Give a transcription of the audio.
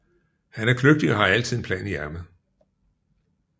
Han er kløgtig og har altid en plan i ærmet